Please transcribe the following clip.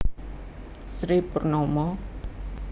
Sri Purnomo